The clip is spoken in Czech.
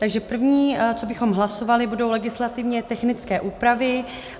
Takže první, co bychom hlasovali, budou legislativně technické úpravy.